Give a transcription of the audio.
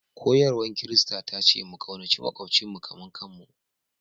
Koyarwar Kirista ta ce mu ƙaunaci maƙwabcinmu kamar kanmu